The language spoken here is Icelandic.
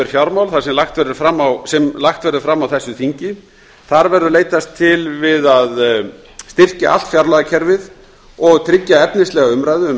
opinber fjármál sem lagt verður fram á þessu þingi þar verður leitast við að styrkja allt fjárlagaferlið og tryggja efnislega umræðu um